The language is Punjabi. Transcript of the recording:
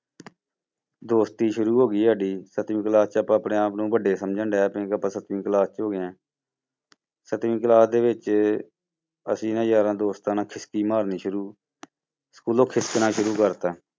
ਦੋਸਤੀ ਸ਼ੁਰੂ ਹੋ ਗਈ ਸਾਡੀ ਸੱਤਵੀਂ class 'ਚ ਆਪਾਂ ਆਪਣੇ ਆਪ ਨੂੰ ਵੱਡੇ ਸਮਝਣ ਕਿ ਆਪਾਂ ਸੱਤਵੀਂ class 'ਚ ਹੋ ਗਏ ਹਾਂ ਸੱਤਵੀਂ class ਦੇ ਵਿੱਚ ਅਸੀਂ ਨਾ ਯਾਰਾਂ ਦੋਸਤਾਂ ਨਾਲ ਮਾਰਨੀ ਸ਼ੂਰੂ ਸਕੂਲੋਂ ਖਿਸਕਣਾ ਸ਼ੁਰੂ ਕਰ ਦਿੱਤਾ।